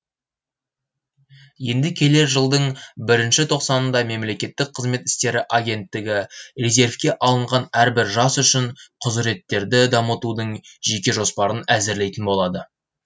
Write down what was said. енді келер жылдың і тоқсанында мемлекеттік қызмет істері агенттігі резервке алынған әрбір жас үшін құзыреттерді дамытудың жеке жоспарын әзірлейтін болады